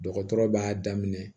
Dɔgɔtɔrɔ b'a daminɛ